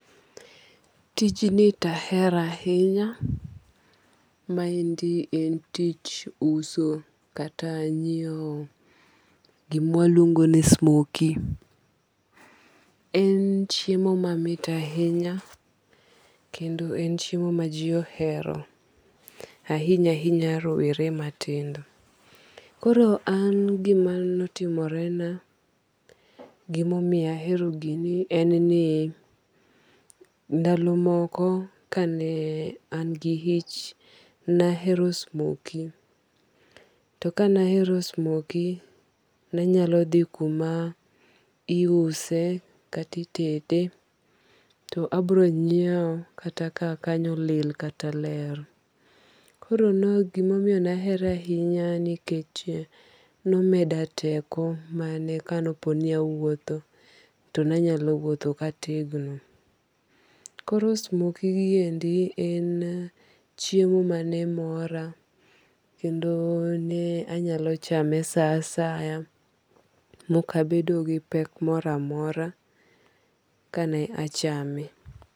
Tij ni to ahero ahinya. Ma endi en tich uso kata nyiew gima waluongo ni smokie. En chiemo mamit ahinya kendo en chiemo ma ji ohero ahinya ahinya rowere matindo. Koro an gima notimore na gimomiyo ahero gini en ni ndalo moko kane an gi ich nahero smokie. To ka nahero smokie nanyalo dhi kuma iuse kata itede to abiro nyiew kata kaka kanyo olil kata ler. Koro gimomoyo nahere ahinya nikech nomeda teko mane kane opo ni awuotho to nanyalo wuotho kategno. Koro smokie gi endi en chiemo mane mora. Kendo ne anyalo chame sa asaya mokabedo gi pek moro amora kane achame.